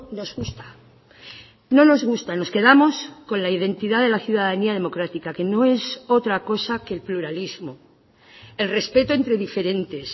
nos gusta no nos gusta nos quedamos con la identidad de la ciudadanía democrática que no es otra cosa que el pluralismo el respeto entre diferentes